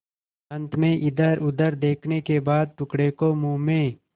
अंत में इधरउधर देखने के बाद टुकड़े को मुँह में